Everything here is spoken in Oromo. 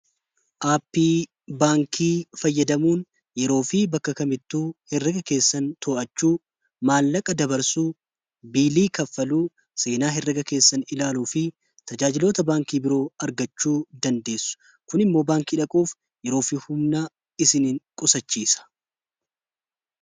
aappii baankii fayyadamuun yeroo fi bakka kamittuu herraga keessan to'achuu maallaqa dabarsuu biilii kaffaluu seenaa herrega keessanii ilaaluu fi tajaajilota baankii biroo argachuu dandeessu. Kun immoo baankii dhaquuf yeroofi humnaa isinin qusachiisa.